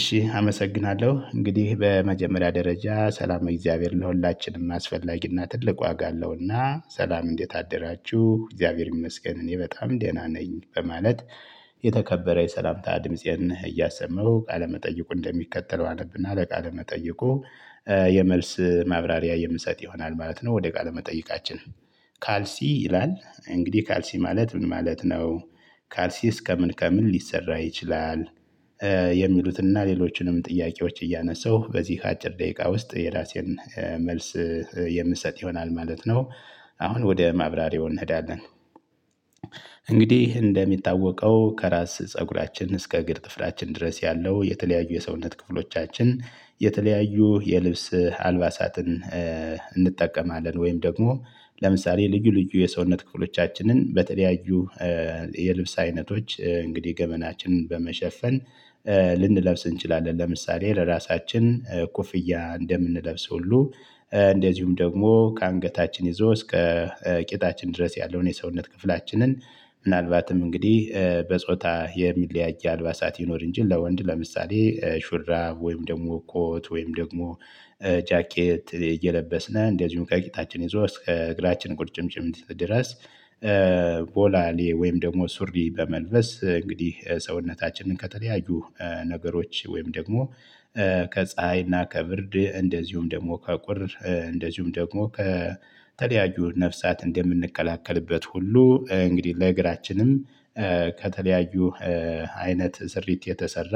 እሺ አመሰግናለሁ። እንግዲህ በመጀመሪያ ደረጃ ሰላመ እግዚአብሔር ለሁላችንም አስፈላጊና ትልቅ ዋጋ አለውና ሰላም እንዴት አደራችሁ፣ እግዚአብሔር ይመስገን እኔ በጣም ደህና ነኝ በማለት የተከበረ የሰላምታ ድምፄን እያሰማው ቃለመጠይቁን እንደሚከተለው አብነና ለቃለ መጠይቁ የመልስ ማብራሪያ የምሰጥ ይሆናል ማለት ነው። ወደ ቃለ መጠይቃችን። "ካልሲ" ይላል። እንግዲህ ካልሲ ማለት ምን ማለት ነው? ካልሲስ ከምን ከምን ሊሰራ ይችላል? የሚሉትን እና ሌሎችንም ጥያቄዎች እያነሳሁ በዚህ አጭር ደቂቃ ውስጥ የራሴን መልስ የምሰጥ ይሆናል ማለት ነው። አሁን ወደ ማብራሪያው እንሄዳለን። እንግዲህ እንደሚታወቀው ከራስ ፀጉራችን እስከ እግር ጥፍራችን ድረስ ያለው የተለያዩ የሰውነት ክፍሎቻችን የተለያዩ የልብስ አልባሳትን እንጠቀማለን ወይም ደግሞ ለምሳሌ ልዩ ልዩ የሰውነት ክፍሎቻችንን በተለያዩ የልብስ አይነቶች እንግዲህ ገመናችንን በመሸፈን ልንለብስ እንችላለን። ለምሳሌ ለራሳችን ኮፍያ እንደምንለብሰው ሁሉ እንደዚሁም ደግሞ ከአንገታችን ይዞ እስከ ቂጣችን ድረስ ያለውን የሰውነት ክፍላችንን ምናልባትም እንግዲህ በጾታ የሚለያይ አልባሳት ይኖር እንጂ ለወንድ ለምሳሌ ሹራብ፣ ወይም ደግሞ ኮት፣ ወይም ደግሞ ጃኬት እየለበስን እንደዚሁም ከቂጣችን ይዞ እስከ እግራችን ቁርጭምጭሚት ድረስ ቦላሌ ወይም ደግሞ ሱሪ በመልበስ እንግዲህ ሰውነታችንን ከተለያዩ ነገሮች ወይም ደግሞ ከፀሀይና ከብርድ እንደዚሁም ደግሞ ከቁር እንደዚሁም ደግሞ ከተለያዩ ነፍሳት እንደምንከላከልበት ሁሉ እንግዲህ ለእግራችንም ከተለያዩ አይነት ስሪት የተሰራ